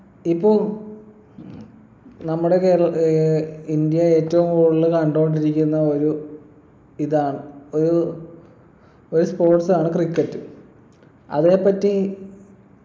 ഇപ്പൊ നമ്മുടെ കേരള ഏർ ഇന്ത്യയിൽ ഏറ്റവും കൂടുതല് കണ്ടോണ്ടിരിക്കുന്ന ഒരു ഇതാണ് ഒരു ഒരു sports ആണ് cricket അതിനെപ്പറ്റി